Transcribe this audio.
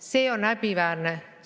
See on häbiväärne.